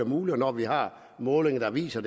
muligt og når vi har målinger der viser